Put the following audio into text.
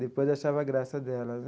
Depois achava graça dela, né?